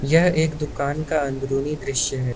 यह एक दुकान का अंदरूनी दृश्य है।